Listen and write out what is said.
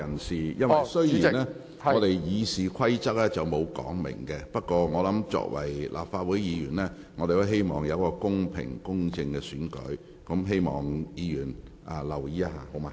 雖然《議事規則》並無相關規定，但作為立法會議員，我們都希望選舉公平、公正。